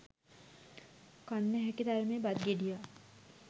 කන්න ඇහැකි තරමේ බත් ගෙඩියක්